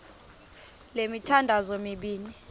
le mithandazo mibini